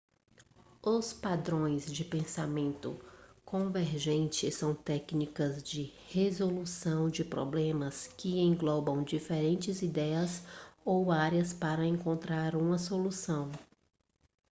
os padrões de pensamento convergente são técnicas de resolução de problemas que englobam diferentes ideias ou áreas para encontrar uma solução